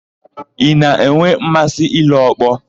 Ị na-enwe mmasị ile ọkpọ?